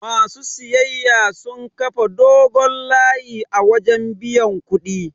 Ma su siyayyar sun kafa dogon layi a wajen biyan kuɗi.